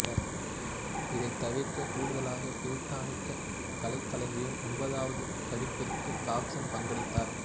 இதைத் தவிரக் கூடுதலாக பிரித்தானிக்கா கலைக்களஞ்சியம் ஒன்பதாவது பதிப்பிற்கும் தாப்சன் பங்களித்தார்